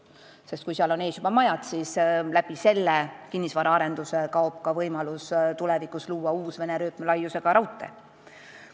Sest kui seal on juba majad ees, siis kaob kinnisvaraarenduse tõttu võimalus tulevikus uus Vene rööpmelaiusega raudtee rajada.